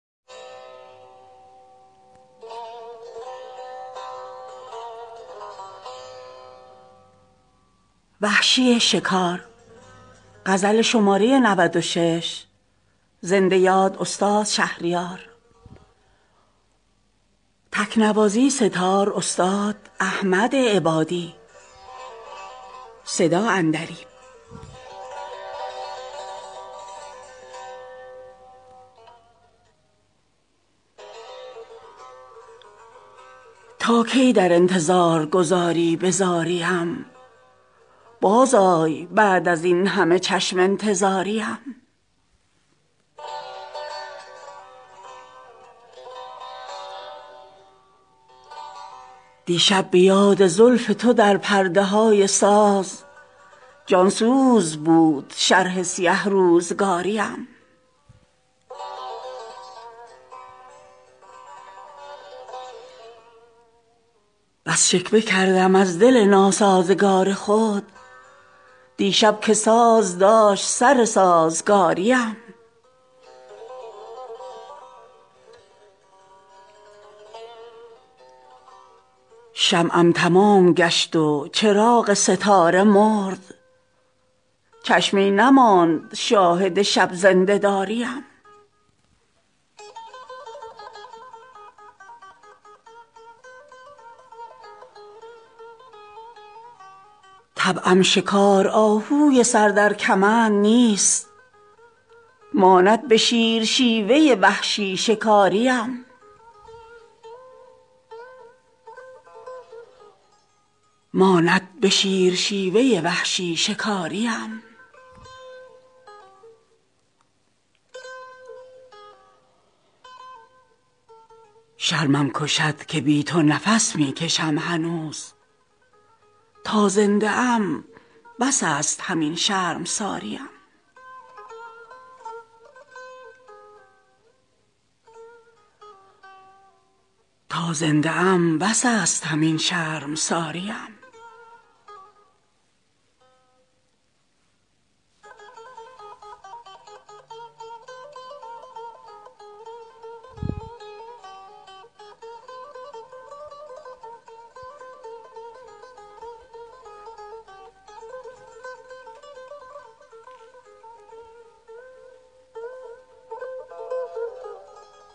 تا کی در انتظار گذاری به زاری ام باز آی بعد از این همه چشم انتظاری ام دیشب به یاد زلف تو در پرده های ساز جان سوز بود شرح سیه روزگاری ام بس شکوه کردم از دل ناسازگار خود دیشب که ساز داشت سر سازگاری ام شمعم تمام گشت و چراغ ستاره مرد چشمی نماند شاهد شب زنده داری ام گفتی هوای لاله عذاران ری خوش است پنداشتی که بلهوس لاله زاری ام طبعم شکار آهوی سر در کمند نیست ماند به شیر شیوه وحشی شکاری ام سندان به سرزنش نتوان کرد پایمال سرکوبی ام زیاده کند پافشاری ام شرمم کشد که بی تو نفس می کشم هنوز تا زنده ام بس است همین شرمساری ام تا هست تاج عشق توام بر سر ای غزال شیرین بود به شهر غزل شهریاری ام